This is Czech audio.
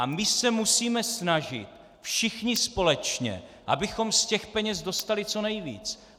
A my se musíme snažit všichni společně, abychom z těch peněz dostali co nejvíc.